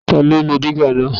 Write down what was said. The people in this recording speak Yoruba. Ta ló lo dígà náà?